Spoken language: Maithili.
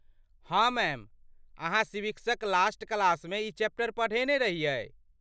हाँ मैम। अहाँ सिविक्सक लास्ट क्लासमे ई चैप्टर पढ़ेने रहियै।